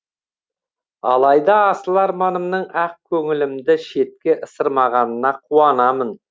алайда асыл арманымның ақ көңілімді шетке ысырмағанына қуанамын